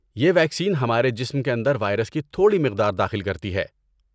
یہ ویکسین ہمارے جسم کے اندر وائرس کی تھوڑی مقدار میں داخل کرتی ہیں۔